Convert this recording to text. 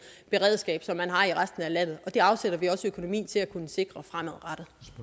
beredskab som man har i resten af landet det afsætter vi også økonomi til at kunne sikre fremadrettet